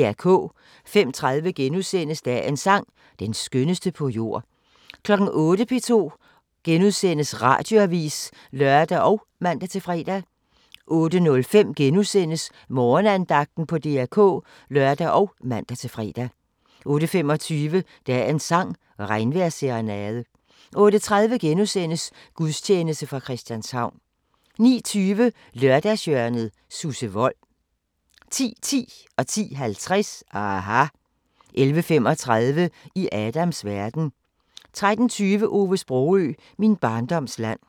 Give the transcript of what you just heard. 05:30: Dagens sang: Den skønneste på jord * 08:00: P2 Radioavis *(lør og man-fre) 08:05: Morgenandagten på DR K *(lør og man-fre) 08:25: Dagens sang: Regnvejrsserenade 08:30: Gudstjeneste fra Christianshavn * 09:20: Lørdagshjørnet – Susse Wold 10:10: aHA! 10:50: aHA! 11:35: I Adams verden 13:20: Ove Sprogøe – Min barndoms land